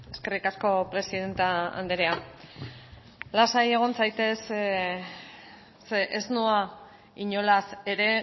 eskerrik asko presidente andrea lasai egon zaitez ze ez noa inolaz ere